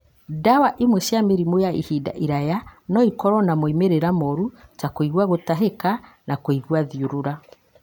Ndawa ĩmwe cia mĩrimũ ya ihinda iraya no ĩkorũo na moimĩrĩro moru, ta kũigua gũtahĩka na kũigua thiũrũra.